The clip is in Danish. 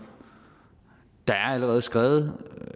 der er allerede skrevet